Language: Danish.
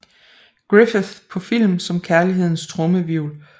Griffith på film som Kærlighedens Trommehvirvel